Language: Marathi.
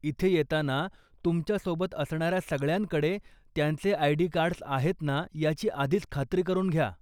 इथे येताना तुमच्या सोबत असणाऱ्या सगळ्यांकडे त्यांचे आय.डी. कार्ड्स आहेत ना याची आधीच खात्री करून घ्या.